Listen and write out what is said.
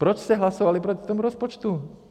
Proč jste hlasovali proti tomu rozpočtu?